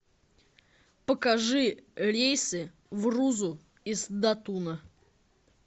покажи рейсы в рузу из датуна